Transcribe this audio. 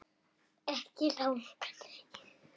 Ekki langt.